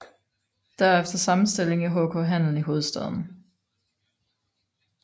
Derefter samme stilling i HK Handel i hovedstaden